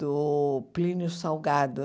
do Plínio Salgado.